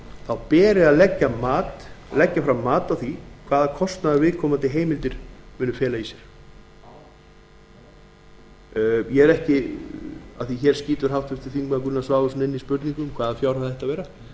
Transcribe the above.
fjárhæð beri að leggja fram mat á því hvaða kostnað viðkomandi heimildir munu fela í sér háttvirtir þingmenn gunnar svavarsson skýtur inn spurningu um hvaða fjárhæð það ætti að vera